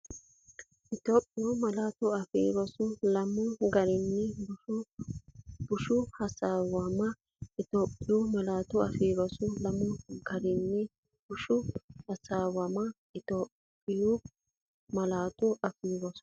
Itophiyu Malaatu Afii Roso Lamu gari bushshu hoshooshama Itophiyu Malaatu Afii Roso Lamu gari bushshu hoshooshama Itophiyu Malaatu Afii Roso.